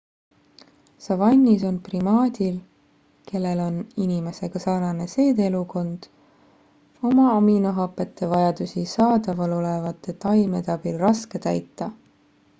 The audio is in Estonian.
savannis on primaadil kellel on inimesega sarnane seedeelundkond oma aminohapete vajadusi saadavalolevate taimede abil raske täita